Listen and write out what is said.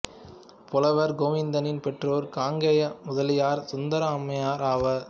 புலவர் கோவிந்தனின் பெற்றோர் காங்கேய முதலியார் சுந்தரம் அம்மையார் ஆவர்